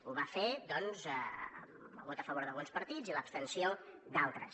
ho va fer doncs amb el vot a favor d’alguns partits i l’abstenció d’altres